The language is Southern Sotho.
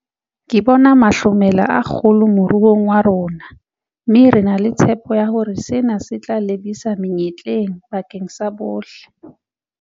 Ke bona mahlomela a kgolo moruong wa rona, mme re na le tshepo ya hore sena se tla lebisa menyetleng bakeng sa bohle.